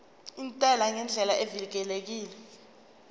intela ngendlela evikelekile